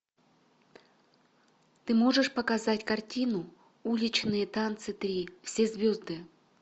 ты можешь показать картину уличные танцы три все звезды